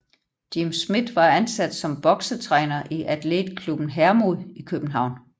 Jim Smith var ansat som boksetræner i Athletklubben Hermod i København